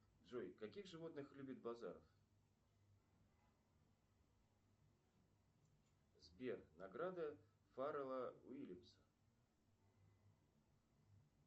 джой каких животных любит базаров сбер награды фаррелла уильямса